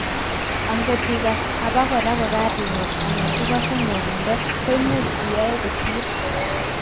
angot igas abakora kokaringet anan igosei ngwonindo, koimuch iyoe kosir